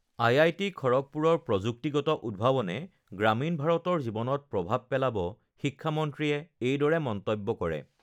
IIT খড়গপুৰৰ প্ৰযুক্তিগত উদ্ভাৱনে গ্ৰামীণ ভাৰতৰ জীৱনত প্ৰভাৱ পেলাব, শিক্ষামন্ত্ৰীয়ে এইদৰে মন্তব্য কৰে